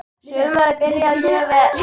Sumarið byrjaði mjög vel.